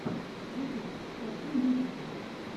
ютюб хочу музыка